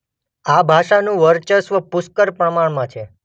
આ ભાષાનું વર્ચસ્વ પુષ્કળ પ્રમાણમાં છે.